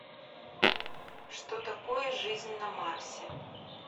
что такое жизнь на марсе